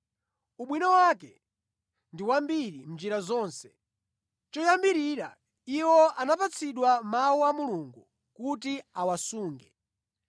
Ubwino wake ndi wambiri mʼnjira zonse! Choyambirira iwo anapatsidwa Mawu a Mulungu kuti awasunge.